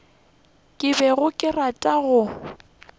ke bego ke rata go